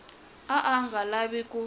a a nga lavi ku